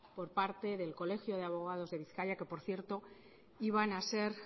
por parte del colegio de abogados de bizkaia que por cierto iban a ser